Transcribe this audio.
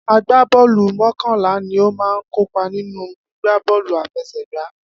Agbá bọ́ọ̀lù mokanla ni ó máa ń kópa nínú gbígbá bọ́ọ̀lù àfẹsẹ̀gba